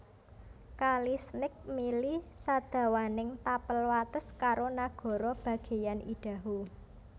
Kali Snake mili sadawaning tapel wates karo nagara bagéyan Idaho